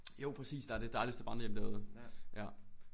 Jo præcis der er det dejligste vandrehjem derude ja